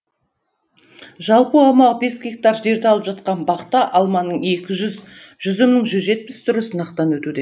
жалпы аумағы бес гектар жерді алып жатқан бақта алманың екі жүз жүзімнің жүз жетпіс түрі сынақтан өтуде